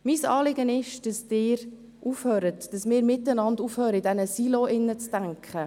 Mein Anliegen ist, dass Sie aufhören, dass wir gemeinsam aufhören, in Silos zu denken.